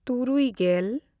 ᱛᱩᱨᱩᱭᱼᱜᱮᱞ